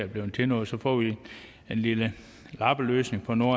blevet til noget så får vi en lille lappeløsning på noget